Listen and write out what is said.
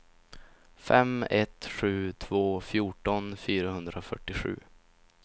fem ett sju två fjorton fyrahundrafyrtiosju